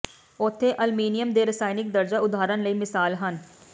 ਉੱਥੇ ਅਲਮੀਨੀਅਮ ਦੇ ਰਸਾਇਣਕ ਦਰਜਾ ਉਦਾਹਰਣ ਲਈ ਮਿਸਾਲ ਹਨ